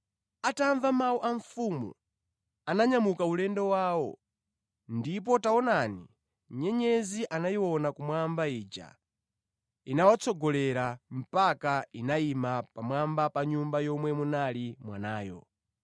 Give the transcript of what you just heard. Atamva mawu a mfumu, ananyamuka ulendo wawo, ndipo taonani nyenyezi anayiona kummawa ija, inawatsogolera mpaka inayima pamwamba pa nyumba yomwe munali mwanayo.